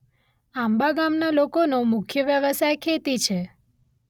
આંબા ગામના લોકોનો મુખ્ય વ્યવસાય ખેતી છે.